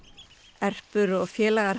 Erpur og félagar